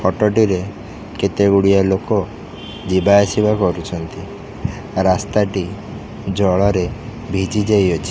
Photo ଟିରେ କେତେ ଗୁଡ଼ିଏ ଲୋକ ଯିବା ଆସିବା କରୁଛନ୍ତି ରାସ୍ତା ଟି ଜଳରେ ଭିଜି ଯାଇଅଛି।